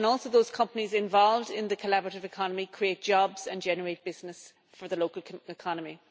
Those companies involved in the collaborative economy also create jobs and generate business for the local economy.